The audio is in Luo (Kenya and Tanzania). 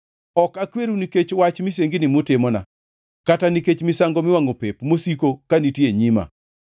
Ok akweru nikech wach misengini mutimona, kata nikech misango miwangʼo pep, mosiko ka nitie e nyima.